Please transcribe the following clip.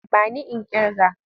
Ba ni in ƙirga!